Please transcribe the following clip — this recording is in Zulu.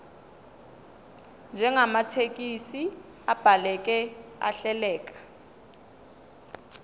njengamathekisthi abhaleke ahleleka